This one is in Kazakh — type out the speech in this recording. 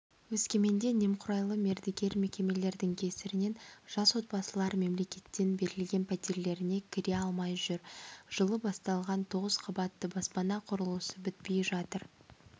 өскеменде немқұрайлы мердігер мекемелердің кесірінен жас отбасылар мемлекеттен берілген пәтерлеріне кіре алмай жүр жылы басталған тоғыз қабатты баспана құрылысы бітпей жатыр